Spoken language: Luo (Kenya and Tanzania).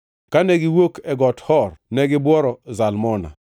Kane giwuok e Got Hor negibuoro Zalmona.